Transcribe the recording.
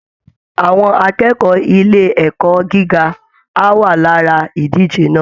Àwọn akẹ́kọ̀ọ́ ilé ẹ̀kọ́ gíga á wà lára ìdíje náà